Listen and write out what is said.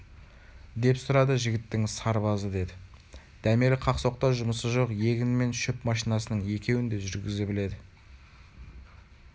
деп сұрады жігіттің сырбазы деді дәмелі қақ-соқта жұмысы жоқ егін мен шөп машинасының екеуін де жүргізе біледі